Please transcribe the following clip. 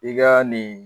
I ka nin